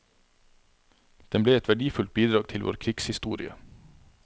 Den ble et verdifullt bidrag til vår krigshistorie.